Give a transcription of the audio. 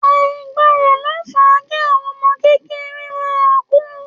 Àìgbọràn ló fa kí àwọn ọmọ kékeré ma kù